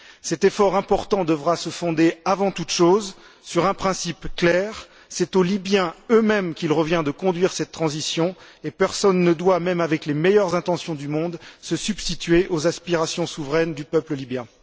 Cet effort important devra se fonder avant toute chose sur un principe clair c'est aux Libyens eux mêmes qu'il revient de conduire cette transition, et personne ne doit, même avec les meilleures intentions du monde, se substituer aux aspirations souveraines du peuple libyen.